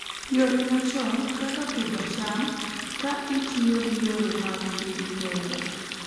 yore machon kaka pidho cham ka itiyo gi yore mag piny kende.